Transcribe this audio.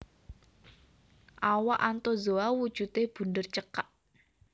Awak Anthozoa wujudé bunder cekak